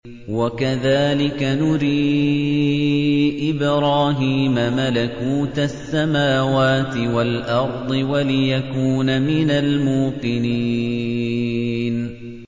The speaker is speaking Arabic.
وَكَذَٰلِكَ نُرِي إِبْرَاهِيمَ مَلَكُوتَ السَّمَاوَاتِ وَالْأَرْضِ وَلِيَكُونَ مِنَ الْمُوقِنِينَ